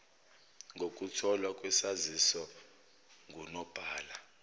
kokutholwa kwesaziso ngunobhala